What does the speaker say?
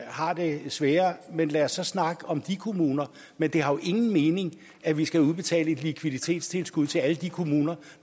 har det sværere men lad os så snakke om de kommuner men det har jo ingen mening at vi skal udbetale et likviditetstilskud til alle de kommuner